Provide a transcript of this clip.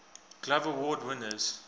glove award winners